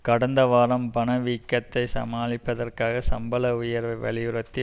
கடந்த வாரம் பணவீக்கத்தை சமாளிப்பதற்காக சம்பள உயர்வை வலியுறுத்தி